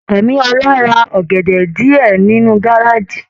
Ẹ̀míólá rà ọgẹdẹ diẹ nínú gárájí.